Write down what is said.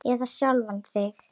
Eða sjálfan þig.